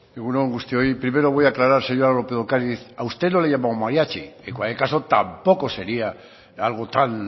egun on guztioi primero voy a aclarar señora lópez de ocariz a usted no le he llamado mariachi en cualquier caso tampoco sería algo tan